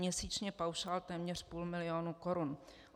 Měsíčně paušál téměř půl milionu korun.